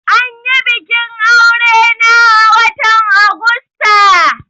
Anyi bikin aure na a watan Augusta